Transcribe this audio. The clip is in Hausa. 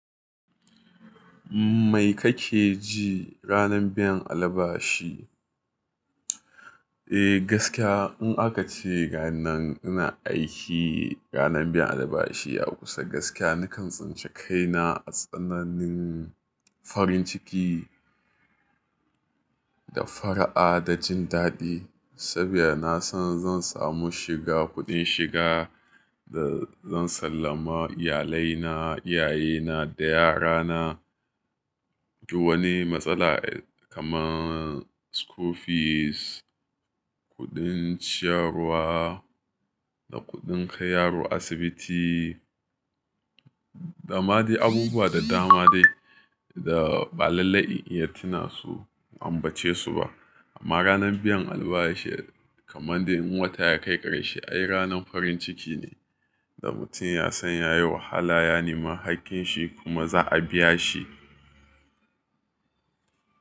Mai kake ji ranar biyan albashi? Eh gaskiya in aka ce ranar ina aiki, ranar biyan alabashi a kusa gaskiya nakan tsinci kaina a tsananin farin ciki da fara'a da jin daɗi. Saboda na san zan samu shiga kuɗin shiga da zan sallama iyalai na, iyaye na da yara na. Wani matsala kaman school fees, kuɗin ciyarwa da kuɗin kai yaro asibiti dama dai abubuwa da dama dai da ba lallai in iya tuna su in ambace su ba. Amma ranar biyan albashi kaman dai in wata ya kai ƙarshe ai ranar farin ciki ne da mutum ya san yayi wahala ya nemi haƙƙin shi kuma za'a biya shi.